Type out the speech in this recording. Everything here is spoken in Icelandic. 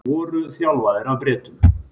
Voru þjálfaðir af Bretum